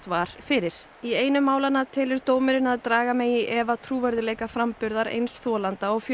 einu málanna telur dómurinn að draga megi í efa trúverðugleika framburðar eins þolanda og fjölskyldu hans